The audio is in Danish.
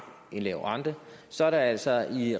en lav rente så er der altså